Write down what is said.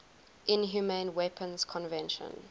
inhumane weapons convention